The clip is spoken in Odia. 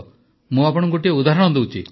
ମୁଁ ଆପଣଙ୍କୁ ଗୋଟିଏ ଉଦାହରଣ ଦେଉଛି